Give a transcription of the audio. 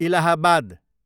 Allahabad